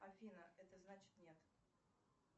афина это значит нет